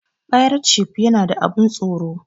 Fairetshif yana da abun tsoro